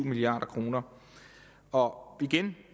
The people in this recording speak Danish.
milliard kroner og igen